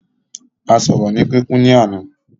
A sọ̀rọ̀ ni kíkún ní àná.